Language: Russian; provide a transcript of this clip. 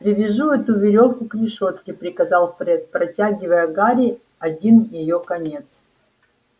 привяжи эту верёвку к решётке приказал фред протягивая гарри один её конец